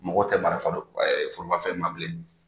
Mɔgɔ tɛ marifa forobafɛn ma bilen.